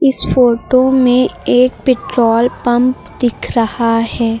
इस फोटो में एक पेट्रोल पंप दिख रहा है।